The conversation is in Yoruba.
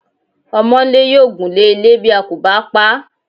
Ọmọńlé yóò gunle ilé bí a kò bá paá.